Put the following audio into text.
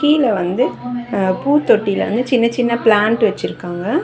கீழ வந்து அ பூத்தொட்டில வந்து சின்ன சின்ன பிளான்ட் வச்சுருக்காங்க.